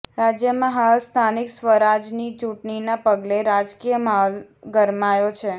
રાજ્યમાં હાલ સ્થાનિક સ્વરાજની ચૂંટણીના પગલે રાજકીય માહોલ ગરમાયો છે